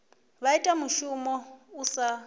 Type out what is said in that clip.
vha ita mushumo u sa